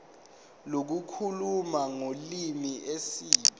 lokukhuluma ngolimi isib